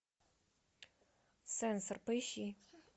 сенсор поищи